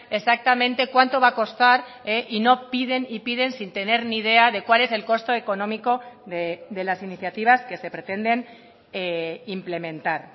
exactamente cuánto va a costar y no piden y piden sin tener ni idea de cuál es el costo económico de las iniciativas que se pretenden implementar